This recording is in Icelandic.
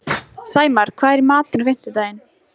Sæmar, hvað er í matinn á fimmtudaginn?